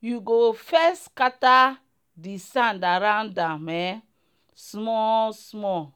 you go first scatter the sand around am um small small.